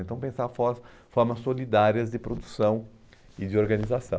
Então pensar for formas solidárias de produção e de organização.